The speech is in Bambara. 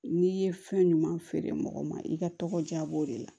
N'i ye fɛn ɲuman feere mɔgɔ ma i ka tɔgɔ diya b'o de la